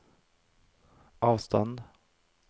avstand